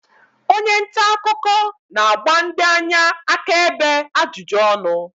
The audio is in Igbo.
onye nta akụkọ na-agba ndị anya akaebe ajụjụ ọnụ